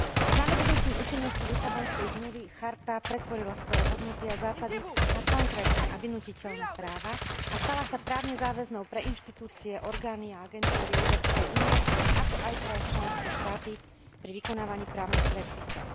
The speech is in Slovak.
Snadobudnutím účinnosti Lisabonskej zmluvy charta pretvorila svoje hodnoty a zásady na konkrétne a vynútiteľné práva a stala sa právne záväznou pre inštitúcie, orgány a agentúry Európskej únie, ako aj pre členské štáty pri vykonávaní právnych predpisov.